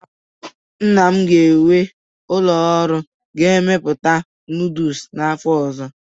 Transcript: Nna m ga-ewu ụlọ ọrụ na-emepụta nooduls n'afọ ọzọ